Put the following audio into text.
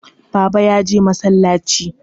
Baba ya je masallaci.